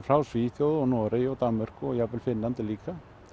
frá Svíþjóð og Noregi og Danmörku og jafnvel Finnlandi líka